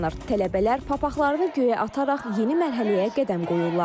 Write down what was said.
Tələbələr papaqlarını göyə ataraq yeni mərhələyə qədəm qoyurlar.